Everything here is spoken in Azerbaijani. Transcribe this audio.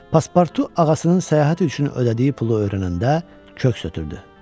Paspartu ağasının səyahət üçün ödəyəcəyi pulu öyrənəndə köks ötürdü.